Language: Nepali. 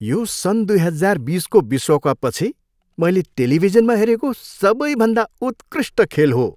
यो सन् दुई हजार बिसको विश्वकपपछि मैले टेलिभिजनमा हेरेको सबैभन्दा उत्कृष्ट खेल हो।